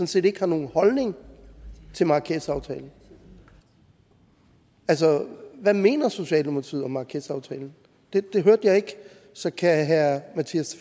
set ikke har nogen holdning til marrakechaftalen altså hvad mener socialdemokratiet om marrakechaftalen det hørte jeg ikke så kan herre mattias